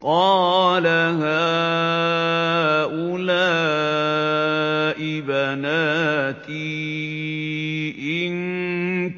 قَالَ هَٰؤُلَاءِ بَنَاتِي إِن